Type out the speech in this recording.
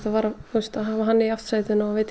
hafa hann í aftursætinu og geta